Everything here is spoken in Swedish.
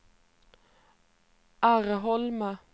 Arholma